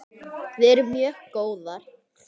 Við erum mjög góðar.